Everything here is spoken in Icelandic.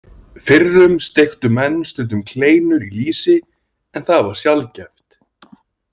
Fyrrum steiktu menn stundum kleinur í lýsi, en það var sjaldgæft.